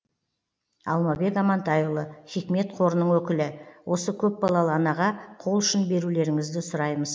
алмабек амантайұлы хикмет қорының өкілі осы көпбалалы анаға қол ұшын берулеріңізді сұраймыз